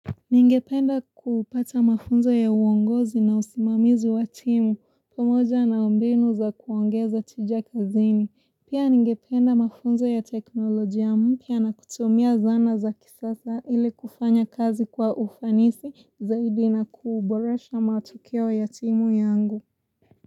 Ningependa kupata mafunzo ya uongozi na usimamizi wa timu, pamoja na mbinu za kuongeza tija kazini. Pia ningependa mafunzo ya teknolojia mpya na kutumia zana za kisasa ili kufanya kazi kwa ufanisi zaidi na kuboresha matokeo ya timu yangu.